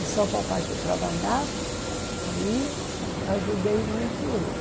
E só o papai que trabalhava, aí ajudei muito ele.